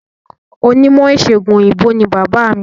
Onímọ̀ ìsègùn òyìnbó ni bàbáà mi.